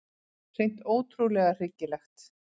Hreint ótrúlega hryggilegt.